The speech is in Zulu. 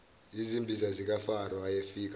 yizimbiza zikafaro ayefika